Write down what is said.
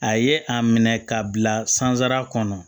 A ye a minɛ k'a bila sansara kɔnɔ